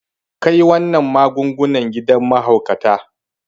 Kai wannan magungunan gidan mahaukata.